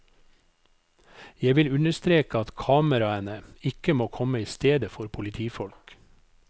Jeg vil understreke at kameraene ikke må komme i stedet for politifolk.